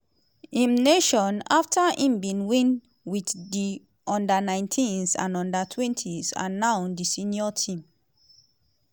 im nation - afta im bin win wit di u19s and u21s and now di senior team.